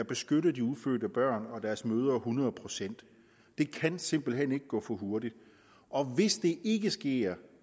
beskytter de ufødte børn og deres mødre hundrede procent det kan simpelt hen ikke gå for hurtigt og hvis det ikke sker